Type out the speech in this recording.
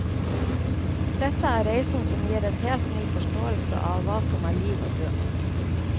Dette er reisen som gir en helt ny forståelse av hva som er liv og død.